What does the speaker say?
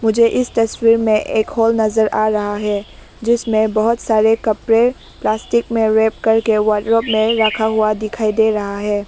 मुझे इस तस्वीर में एक हॉल नजर आ रहा है जिसमें बहुत सारे कपड़े प्लास्टिक में रैप करके वार्डरोब में रखा हुआ दिखाई दे रहा है।